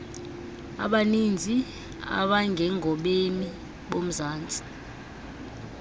abaninzi abangengobemi bomzantsi